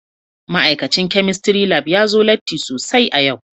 Ma'aikacin Chemistry Lab ya zo latti sosai a yau